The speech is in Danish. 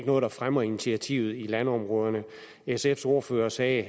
noget der fremmer initiativet i landområderne sfs ordfører sagde